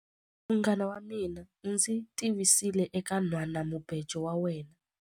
Munghana wa mina u ndzi tivisile eka nhwanamubejo wa yena.